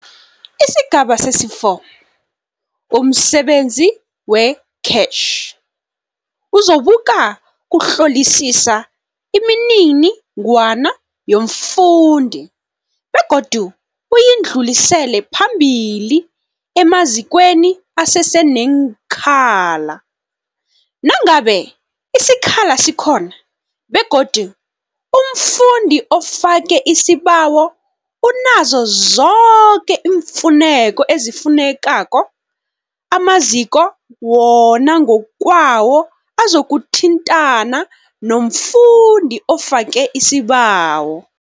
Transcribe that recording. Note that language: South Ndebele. Isigaba sesi-4, umsebenzi we-CACH uzokuba kuhlolisisa iminini-ngwana yomfundi begodu uyidlulisele phambili emazikweni aseseneenkhala. Nangabe isikhala sikhona begodu umfundi ofake isibawo unazo zoke iimfuneko ezifunekako, amaziko wona ngokwawo azokuthintana nomfundi ofake isibawo.